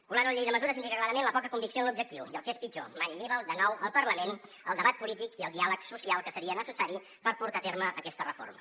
colar ho a la llei de mesures indica clarament la poca convicció en l’objectiu i el que és pitjor manlleva de nou al parlament el debat polític i el diàleg social que seria necessari per portar a terme aquesta reforma